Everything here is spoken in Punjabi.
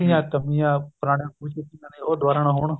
ਗ਼ਲਤੀਆ ਕਰਨੀਆ ਪੁਰਾਣੇ ਸਮੇਂ ਚ ਕਰੀਆਂ ਨੇ ਉਹ ਦੁਬਾਰਾ ਨਾ ਹੋਣ